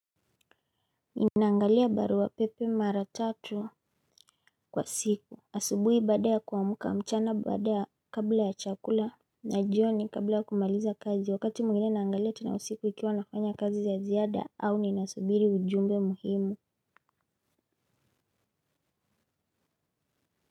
Ninaangalia barua pepe mara tatu kwa siku asubuhi baada ya kuamka mchana baada ya kabla ya chakula na jioni kabla ya kumaliza kazi wakati mwingine naangalia tena usiku ikiwa nafanya kazi za ziada au ninasubiri ujumbe muhimu.